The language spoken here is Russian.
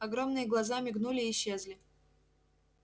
огромные глаза мигнули и исчезли